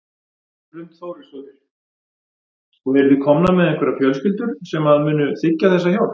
Hrund Þórsdóttir: Og eru þið komnar með einhverjar fjölskyldur sem að munu þiggja þessa hjálp?